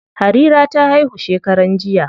Harira ta haihu shekaran jiya.